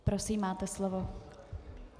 Prosím, máte slovo.